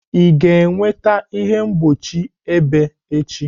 Ị ga-enweta ihe mgbochi ebe echi?